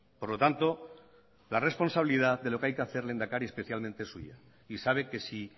por lo tanto la responsabilidad de lo que hay que hacer lehendakari es especialmente suya y sabe que si